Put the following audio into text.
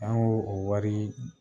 An yo o wari